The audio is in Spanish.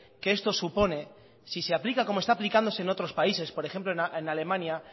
que esto supone si se aplica como está aplicándose en otros países por ejemplo en alemania